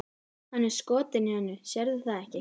Hann er skotinn í henni, sérðu það ekki?